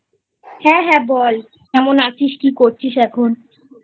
হ্যাঁ হ্যাঁ বল কেমন আছিস কি করছিস এখন?